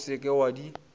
o se ke wa di